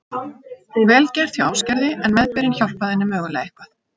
Vel gert hjá Ásgerði en meðbyrinn hjálpaði henni mögulega eitthvað.